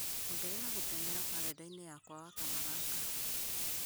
ongerera gũteng'era karenda-inĩ yakwa wakana gaka